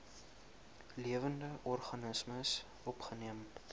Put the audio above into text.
lewende organismes opgeneem